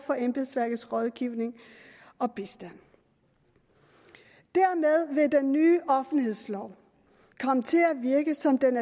for embedsværkets rådgivning og bistand dermed vil den nye offentlighedslov komme til at virke sådan